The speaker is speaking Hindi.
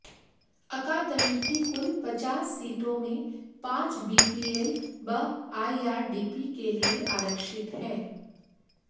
अकादमी की कुल पचास सीटों में पांच बीपीएल व आईआरडीपी के लिए आरक्षित है